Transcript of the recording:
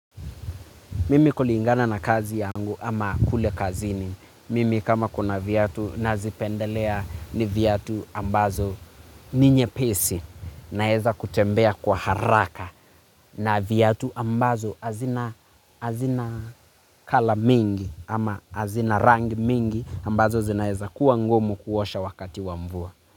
Mimi kuli ingana na kazi yangu ama kule kazini. Mimi kama kuna vyatu nazipendelea ni vyatu ambazo ninye pesi na heza kutembea kwa haraka na vyatu ambazo azina kala mingi ama azina rangi mingi ambazo zina heza kuwa ngumu kuosha wakati wa mvua.